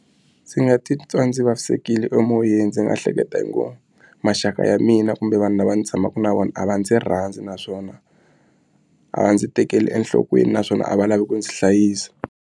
Ndzi nga titwa ndzi vavisekile emoyeni ndzi nga hleketa ku maxaka ya mina kumbe vanhu lava ndzi tshamaka na vona a va ndzi rhandza naswona a va ndzi tekeli enhlokweni naswona a va lavi ku ndzi hlayisa.